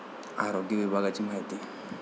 आरोग्य विभागाची माहिती